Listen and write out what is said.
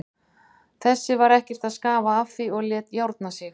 Þessi var ekkert að skafa af því og lét járna sig.